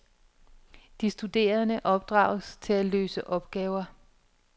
De studerende opdrages til at løse opgaver.